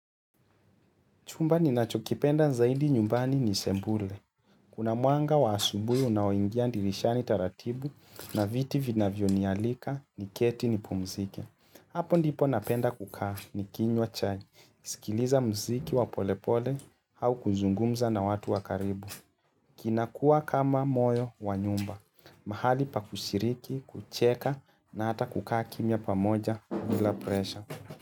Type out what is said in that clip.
Chumba ninachokipenda zaidi nyumbani ni sebule. Kuna mwanga wa asubuhi unaoingia dirishani taratibu na viti vinavyo nialika niketi nipumzike. Hapo ndipo napenda kukaa nikinywa chai, nikisikiliza mziki wa polepole au kuzungumza na watu wa karibu. Kinakua kama moyo wa nyumba, mahali pa kushiriki, kucheka na hata kukaa kimya pamoja bila presha.